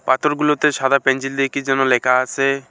পাথরগুলোতে সাদা পেনজিল দিয়ে কি যেন লেখা আসে।